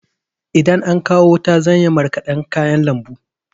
Idan an kawo wuta zan yi marƙadan kayan lambu.